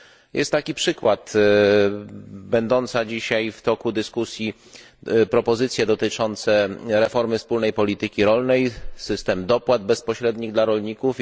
Jest taki przykład będące dzisiaj w toku dyskusji propozycje dotyczące reformy wspólnej polityki rolnej, system dopłat bezpośrednich dla rolników.